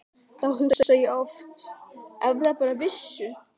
Þá hugsa ég oft að ef þær bara vissu.